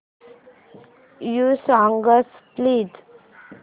new songs please